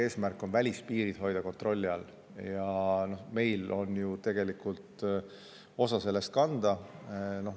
Eesmärk on hoida välispiirid kontrolli all ja meil on ju tegelikult oma osa selles kanda.